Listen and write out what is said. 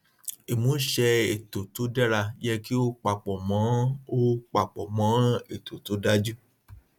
ìmúṣẹ ètò tó dára yẹ kí ó papọ mọ ó papọ mọ ètò tó dájú